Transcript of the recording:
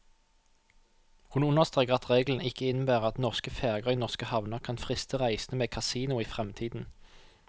Hun understreker at reglene ikke innebærer at norske ferger i norske havner kan friste reisende med kasino i fremtiden.